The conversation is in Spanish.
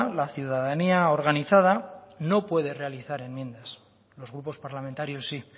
la ciudadanía organizada no puede realizar enmiendas los grupos parlamentarios sí